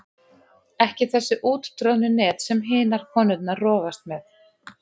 Ekki þessi úttroðnu net sem hinar konurnar rogast með.